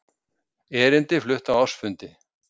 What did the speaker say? Erindi flutt á ársfundi